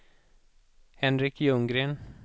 Henrik Ljunggren